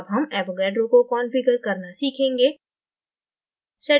अब हम avogadroको configure करना सीखेंगे